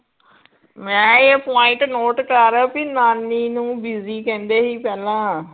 ਮੈ ਇਹ point note ਕਰ ਕਿ ਨਾਨੀ ਨੂੰ ਬੀਜੀ ਕਹਿੰਦੇ ਹੀ ਪਹਿਲਾਂ